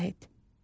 İzah et.